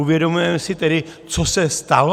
Uvědomujeme si tedy, co se stalo?